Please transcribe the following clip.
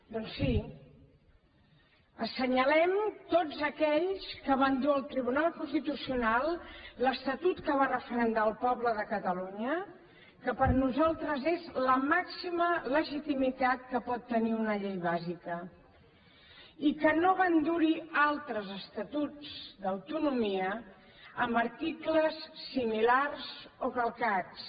doncs sí assenyalem tots aquells que van dur al tribunal constitucional l’estatut que va referendar el poble de catalunya que per nosaltres és la màxima legitimitat que pot tenir una llei bàsica i que no van dur hi altres estatus d’autonomia amb articles similars o calcats